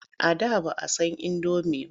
A da ba san indomi ba.